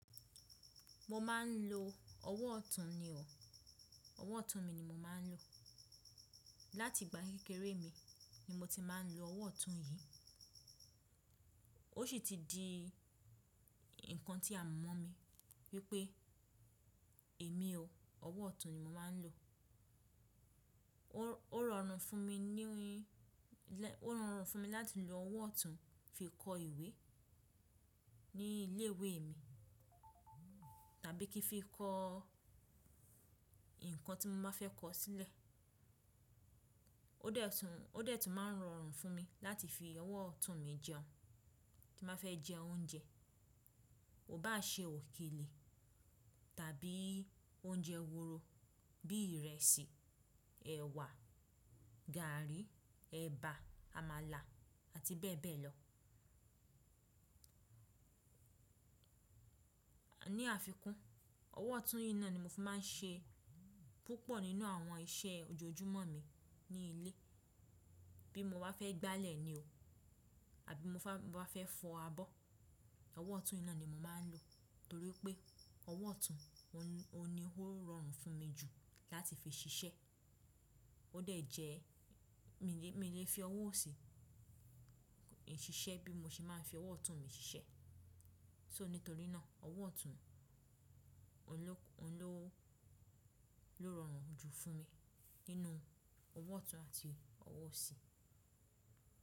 Mo máa ń lo ọwọ́ ọ̀tún ni o. Ọwọ́ ọ̀tún mi ni mo máa ń lò. Láti ìgbà kékeré mi ni mo ti máa ń lo ọwọ́ ọ̀tún yìí. Ó sì ti di nǹkan tí a mọ̀ momi wípé èmi o, ọwọ́ ọ̀tún ni mo máa ń lò. Ó rọrùn fún mi ní- ní, ó rọrùn fún mi láti lo ọwọ́ ọ̀tún fi kọ ìwé ní ilé ìwé mi, tàbí kí n fi kọ ǹkan tí mo ba fẹ́ kọ sílẹ̀. Ó de tùn, ó de tùn máa ń rọrùn fún mi láti fi ọwọ́ ọ̀tún mi jẹun, tí n ba fẹ́ jẹ oúnjẹ. Ko bá ṣe òkèlè tàbí oúnjẹ wooro bíi ìrẹsì, ẹ̀wà, gààrí, ẹ̀bà, àmàlà ati bee bee lo. Ní àfikún, ọwọ́ ọ̀tún yìí náà ni mo fi máa ń ṣe púpọ̀ nínú àwọn iṣẹ́ ojoojúmọ́ mi ní ilé. Bí mo bá fẹ́ gbálẹ̀ ni o, àbí mo bá fẹ́ fọ abọ́, ọwọ́ ọ̀tún yìí náà ni mo máa ń lò torí pé ọwọ́ ọ̀tún, oun ni, oun ni ó rọrùn fún mi jù láti fi ṣiṣẹ́. Ó de jẹ́ mi lè fi ọwọ́ ọ̀sì ṣiṣẹ́ bí mo ṣe máa ń fi ọwọ́ ọ̀tún mi ṣiṣẹ́. So, nítorí náà ọwọ́ ọ̀tún, òun ló, oun lo rọrùn jù fún mi nínú ọwọ́ ọ̀tún àti ọwọ́ osi.